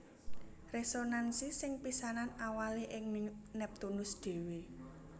Résonansi sing pisanan awalé ing Neptunus dhéwé